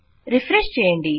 refresh చేయండి